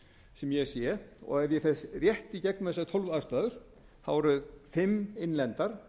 sem ég sé og ef ég fer rétt í gegnum þessar tólf ástæður þá eru fimm innlendar